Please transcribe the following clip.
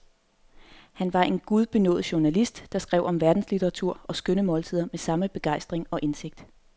Han var en gudbenådet journalist, der skrev om verdenslitteratur og skønne måltider med samme begejstring og indsigt.